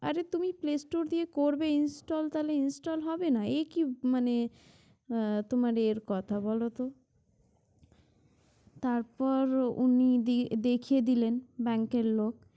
আরে তুমি play store দিয়ে করবে install তাহলে install হবে না একি মানে আহ তোমার এর কথা বলো তো? তারপর উনি দিই~ দেখিয়ে দিলেন Bank এর লোক।